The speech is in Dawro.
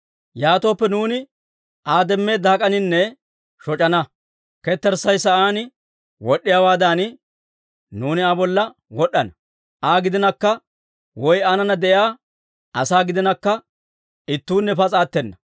Yaatooppe nuuni Aa demmeedda hak'aninne shoc'ana; ketterssay sa'aan wod'd'iyaawaadan nuuni Aa bolla wod'd'ana. Aa gidinakka woy aanana de'iyaa asaa gidinakka ittuunne pas'a attena.